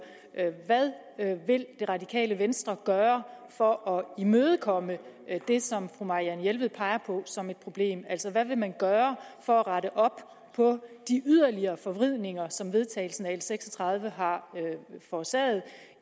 hvad vil det radikale venstre gøre for at imødekomme det som fru marianne jelved peger på som et problem altså hvad vil man gøre for at rette op på de yderligere forvridninger som vedtagelsen af l seks og tredive har forårsaget